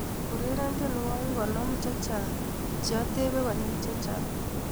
Ureren tiewokik konom chechang cheatebe konyil chechang